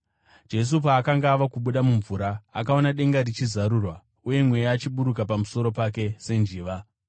Jesu paakanga ava kubuda mumvura, akaona denga richizarurwa uye Mweya achiburukira pamusoro pake senjiva.